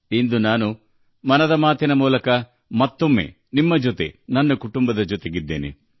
ಇಂದು ಮತ್ತೊಮ್ಮೆ 'ಮನ್ ಕಿ ಬಾತ್' ಮೂಲಕ ನನ್ನ ಕುಟುಂಬ ಸದಸ್ಯರಾದ ನಿಮ್ಮೆಲ್ಲರ ನಡುವೆ ಬಂದಿದ್ದೇನೆ